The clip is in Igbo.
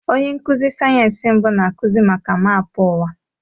Onye nkuzi sayensị mbụ na-akụzi maka maapụ ụwa.